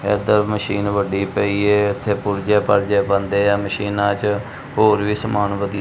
ਇਧਰ ਮਸ਼ੀਨ ਵੱਡੀ ਪਈ ਏ ਇਥੇ ਪੁਰਜੇ ਪਾਰਜੇ ਬੰਦੇ ਆ ਮਸ਼ੀਨਾਂ ਚ ਹੋਰ ਵੀ ਸਮਾਨ ਵਦੀ--